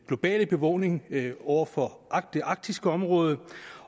globale bevågenhed over for det arktiske område